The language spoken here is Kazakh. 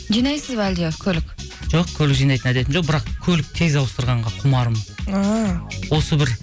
жинайсыз ба әлде көлік жоқ көлік жинайтын әдетім жоқ бірақ көлік тез ауыстырғанға құмарым ааа осы бір